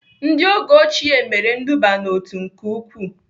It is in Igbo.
Ndị oge ochie mere nduba n'otu nke ukwuu